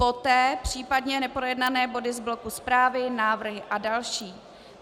Poté případně neprojednané body z bloku zprávy, návrhy a další.